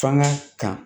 Fanga kan